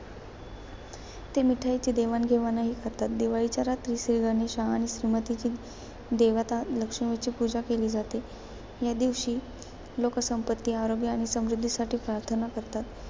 ते मिठाईची देवाणघेवाणही करतात. दिवाळीच्या रात्री श्रीगणेशा आणि श्रीमतीची देवता लक्ष्मीची पूजा केली जाते. या दिवशी लोकं संपत्ती, आरोग्य आणि समृध्दीसाठी प्रार्थना करतात.